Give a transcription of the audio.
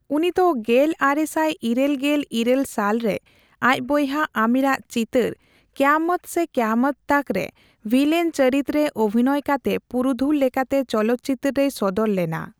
ᱩᱱᱤ ᱫᱚ ᱜᱮᱞ ᱟᱨᱮᱥᱟᱭ ᱤᱨᱟᱹᱞ ᱜᱮᱞ ᱤᱨᱟᱹᱞ ᱥᱟᱞ ᱨᱮ ᱟᱡ ᱵᱚᱭᱦᱟ ᱟᱢᱤᱨᱟᱜ ᱪᱤᱛᱟᱹᱨ 'ᱠᱮᱭᱟᱢᱚᱛ ᱥᱮ ᱠᱮᱭᱟᱢᱚᱛ ᱛᱚᱠ' ᱼᱨᱮ ᱵᱷᱤᱞᱮᱱ ᱪᱚᱨᱤᱛ ᱨᱮ ᱚᱵᱷᱤᱱᱚᱭ ᱠᱟᱛᱮ ᱯᱩᱨᱩᱫᱷᱩᱞ ᱞᱮᱠᱟᱛᱮ ᱪᱚᱞᱚᱛᱪᱤᱛᱟᱹᱨ ᱨᱮᱭ ᱥᱚᱫᱚᱨ ᱞᱮᱱᱟ ᱾